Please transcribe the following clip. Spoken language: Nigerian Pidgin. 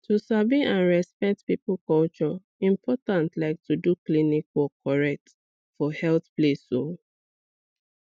to sabi and respect people culture important like to do klinik work correct for healthcare place um